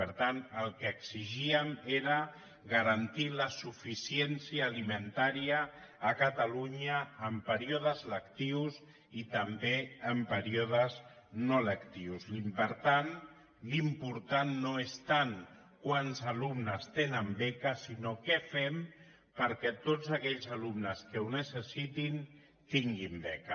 per tant el que exigíem era garantir la suficiència alimentària a catalunya en períodes lectius i també en períodes no lectius i per tant l’important no és tant quants alumnes tenen beques sinó què fem perquè tots aquells alumnes que ho necessitin tinguin beca